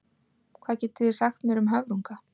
Hvað getið þið sagt mér um höfrunga?